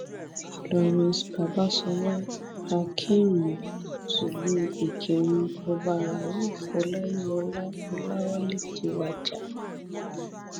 florence babàsọlá akinrun tìlùú ìkírun ọba rauf ọláyíwọlá ọlàwálẹ ti wájà